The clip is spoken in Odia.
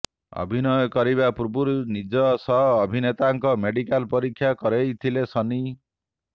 ଅଭିନୟ କରିବା ପୂର୍ବରୁ ନିଜ ସହ ଅଭିନେତାଙ୍କ ମେଡିକାଲ୍ ପରୀକ୍ଷା କରେଇଥିଲେ ସନ୍ନି